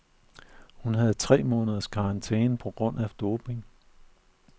Hun havde tre måneders karantæne på grund af doping.